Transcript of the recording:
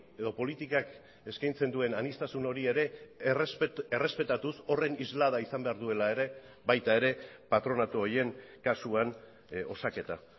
edo politikak eskaintzen duen aniztasun hori ere errespetatuz horren islada izan behar duela ere baita ere patronatu horien kasuan osaketa